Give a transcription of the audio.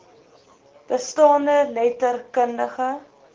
bestaande letter kundige